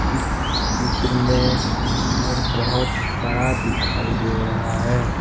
इस चित्र में घर बोहत बड़ा दिखाई दे रहा है।